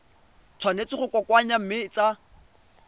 tshwanetse go kokoanngwa mme tsa